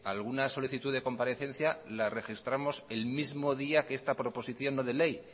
alguna solicitud de comparecencia la registramos el mismo día que esta proposición no de ley